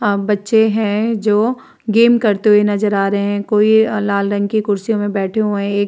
आ बच्चे है। जो गेम करते हुए नजर आ रहे है। कोई लाल रंग की कुर्सियों मे बैठे हुए एक --